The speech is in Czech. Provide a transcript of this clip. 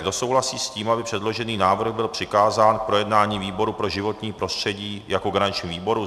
Kdo souhlasí s tím, aby předložený návrh byl přikázán k projednání výboru pro životní prostředí jako garančnímu výboru?